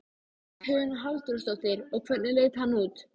Hugrún Halldórsdóttir: Og hvernig leit hann út?